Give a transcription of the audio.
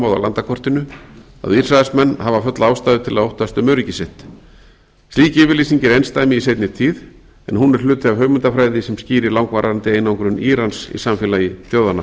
af landakortinu að ísraelsmenn hafa fulla ástæðu til að óttast um öryggi sitt slík yfirlýsing er einsdæmi í seinni tíð en hún er hluti af hugmyndafræði sem skýrir langvarandi einangrun írans í samfélagi þjóðanna